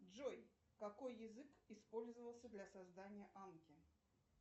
джой какой язык использовался для создания анки